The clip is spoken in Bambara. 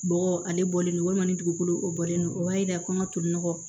Bɔgɔ ale bɔlen don walima ni dugukolo o bɔlen don o b'a yira kɔɲɔ tolila